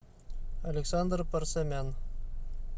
александр парсамян